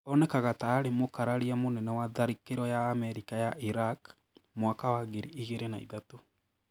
Onekaga ta arĩ mũkararia mũnene wa tharĩkĩro ya Amerika ya Iraq mwaka wa ngiri igĩrĩ na ithatũ.